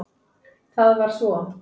Það var svo